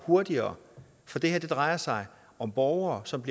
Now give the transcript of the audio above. hurtigere for det her drejer sig om borgere som